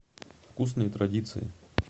вкусные традиции